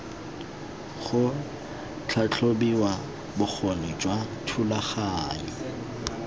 ga tlhatlhobiwa bokgoni jwa thulaganyo